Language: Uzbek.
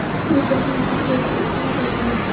bu jahon futbolchi uchun foydali.